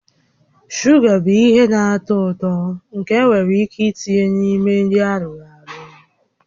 Shuga bụ ihe na-atọ ụtọ nke enwere ike itinye n'ime nri arụrụ arụ